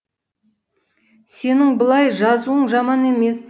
сенің былай жазуың жаман емес